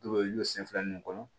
Dɔw bɛ y'u sen fila ninnu kɔnɔ